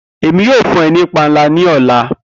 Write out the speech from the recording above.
Emi yoo fun ọ ni panla ni ọla.